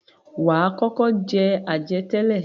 Wà á kọ́kọ́ jẹ àjẹtẹ́lẹ̀.